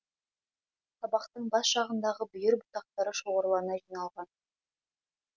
сабақтың бас жағындағы бүйір бұтақтары шоғырлана жиналған